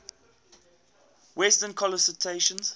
western constellations